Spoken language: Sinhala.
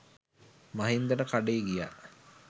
මහින්දට කඩේ ගියා